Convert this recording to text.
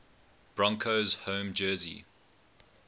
broncos home jersey